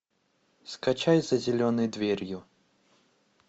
скачать за зеленой дверью